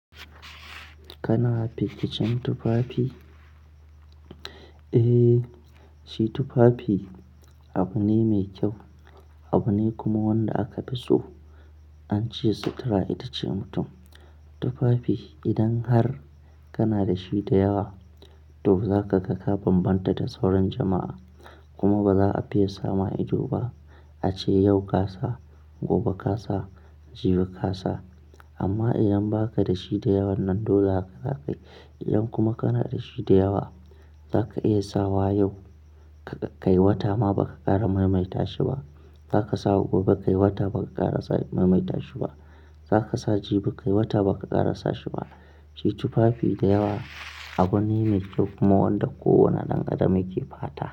Kana fi kicin tufafi? Eh, shi tufafi abu ne mai kyau, abu ne kuma wanda aka fi so. An ce sutura ita ce mutum. Tufafi idan har kana da shi da yawa to zaka ga ka bambanta da sauran jama'a kuma ba za a fiye sama ido ba. A ce yau kasa, gobe kasa, jibi kasa. Amma idan ba ka da shi da yawan nan dole haka za ka yi. Idan kuma kana da shi da yawa zaka iya sawa yau ka kai wata ma ba ka ƙara maimaita shi ba. Zaka sa gobe kai wata ba ka ƙara sa maimaita shi ba. Zaka sa jibi kai wata ba ka ƙara sa shi ba. Shi tufafi da yawa abu ne mai kyau kuma wanda kowane ɗan adam yake fata.